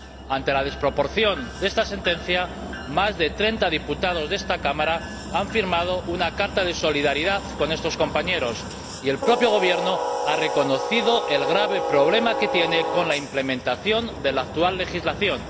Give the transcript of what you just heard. Ante la desproporción de esta sentencia, más de treinta diputados de esta Cámara han firmado una carta de solidaridad con estos compañeros y el propio Gobierno ha reconocido el grave problema que tiene con la implementación de la actual legislación.